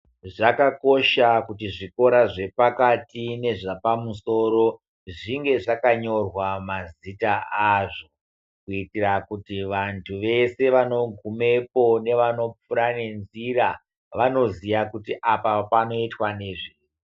Zvakakosha kuti zvikora zvepakati nezvapamusoro, zvinge zvakanyorwa mazita azvo, kuitira kuti vantu vese vanogumepo nevanopfuura nenzira, vanoziya kuti apa panoitwa nezvei.